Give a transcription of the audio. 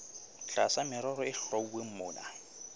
tlasa merero e hlwauweng mona